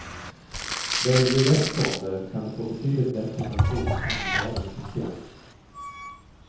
Väljer du rätt fonder kan du få betydligt bättre pension än med dagens system.